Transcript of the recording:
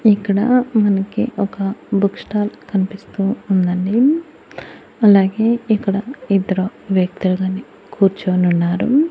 ఇక్కడా మనకి ఒక బుక్ స్టాల్ కనిపిస్తూ ఉందండి అలాగే ఇక్కడ ఇద్దరు వ్యక్తులు గని కూర్చోనున్నారు.